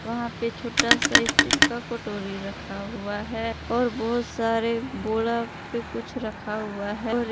वहां पे छोटा सा स्टील का कटोरी रखा हुआ है और बहुत सारे बोरा पे कुछ रखा हुआ है और एक--